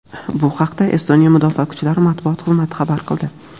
Bu haqda Estoniya mudofaa kuchlari matbuot xizmati xabar qildi.